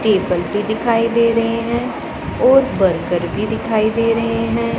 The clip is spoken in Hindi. टेबल भी दिखाई दे रहें हैं और बर्गर भी दिखाई दे रहें हैं।